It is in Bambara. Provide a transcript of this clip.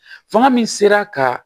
Fanga min sera ka